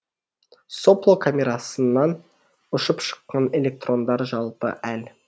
сопло камерасынан ұшып шыққан электрондар жалпы эл